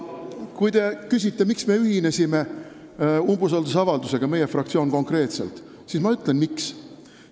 Kui te küsite, miks me ühinesime umbusaldusavaldusega, meie fraktsioon konkreetselt, siis ma ütlen, miks.